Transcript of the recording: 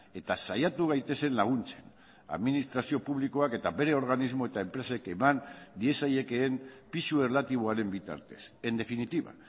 eta saiatu gaitezen laguntzen administrazio publikoak eta bere organismo eta enpresek eman diezaiekeen pisu erlatiboaren bitartez en definitiva